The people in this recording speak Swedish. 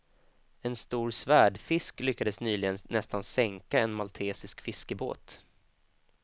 En stor svärdfisk lyckades nyligen nästan sänka en maltesisk fiskebåt.